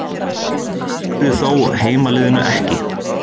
Það dugði þó heimaliðinu ekki